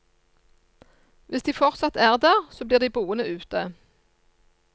Hvis de fortsatt er der, så blir de boende ute.